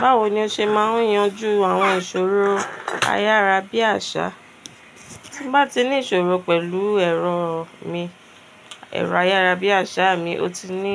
Báwo ni o ṣe máa ń yanjú àwọn ìṣòro ayárábiàṣá? Tí n bá ti ní ìṣòro pẹ̀lú ẹ̀rọ mi, ẹ̀rọ ayárábiàṣá mi, ó ti ní